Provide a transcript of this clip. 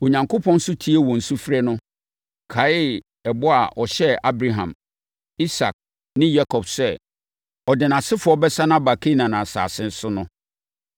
Onyankopɔn nso tiee wɔn sufrɛ no, kae ɛbɔ a ɔhyɛɛ Abraham, Isak ne Yakob sɛ ɔde nʼasefoɔ bɛsane aba Kanaan asase so no.